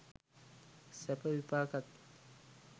සැප විපාකත්